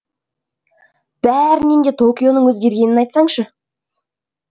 бәрінен де токионың өзгергенін айтсаңшы